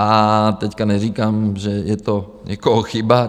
A teď neříkám, že je to někoho chyba.